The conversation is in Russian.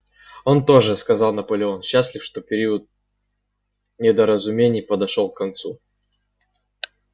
он тоже сказал наполеон счастлив что период недоразумений подошёл к концу